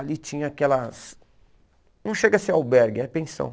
Ali tinha aquelas... Não chega a ser albergue, é pensão.